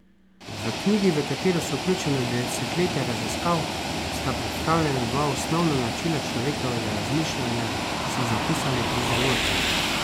V knjigi, v katero so vključena desetletja raziskav, sta predstavljena dva osnovna načina človekovega razmišljanja, so zapisali pri založbi.